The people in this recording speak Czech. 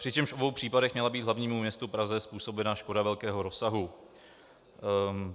Přičemž v obou případech měla být hlavnímu městu Praze způsobena škoda velkého rozsahu.